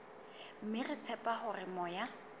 mme re tshepa hore moya